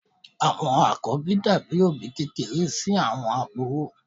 Àwọn àkọ́bí dàbí òbí kékeré sí àwọn àbúrò.